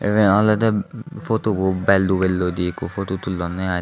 iben olwdey photu bo bel dubelloidey ikko photu tullonnye i.